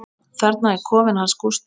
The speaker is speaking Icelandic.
Þarna er kofinn hans Gústa.